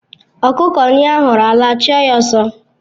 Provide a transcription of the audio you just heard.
Ọkụkọ nyụo ahuru ala a chụọ ya ọsọ